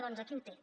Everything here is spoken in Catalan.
doncs aquí ho té